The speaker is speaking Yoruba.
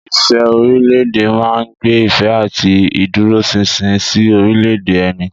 Ìfẹ́ orílẹ̀-èdè máa ń gbé ìfẹ́ àti ìdúróṣinṣin sí orílẹ̀-èdè ẹni.